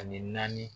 Ani naani